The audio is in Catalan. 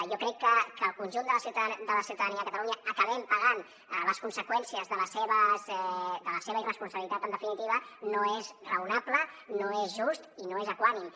jo crec que que el conjunt de la ciutadania de catalunya acabem pagant les conseqüències de la seva irresponsabilitat en definitiva no és raonable no és just i no és equànime